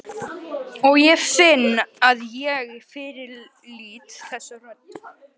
Og ég finn að ég fyrirlít þessa rödd.